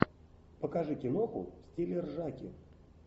покажи киноху в стиле ржаки